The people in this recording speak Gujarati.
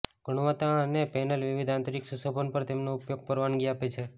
ગુણવત્તા અને પેનલ વિવિધ આંતરિક સુશોભન પર તેમનો ઉપયોગ પરવાનગી આપે છે